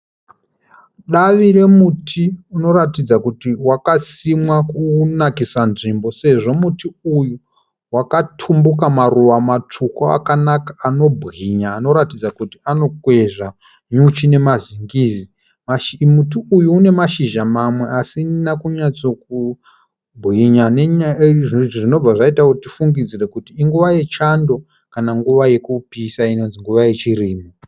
Davi remuti unoratidza kuti wakasimwa kunakisa nzvimbo sezvo muti uyu wakatumbuka maruva matsvuku akanaka anobwinya anoratidza kuti anokwezva nyuchi nemazingizi. Muti uyu une mashizha mamwe asina kunyatso kubwinya nenyaya yekuti zvinobva zvaita tifungidzire kuti inguva yechando kana nguva yekupisa inonzi nguva yechirimo.